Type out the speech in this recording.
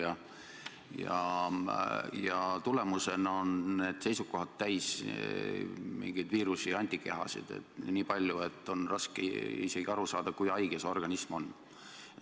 Ent selle tagajärjel on need seisukohad täis niivõrd palju viirusi ja antikehi, et on raske aru saada, kui haige see organism tegelikult on.